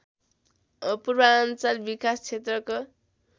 पूर्वाञ्चल विकास क्षेत्रको